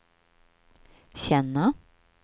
känna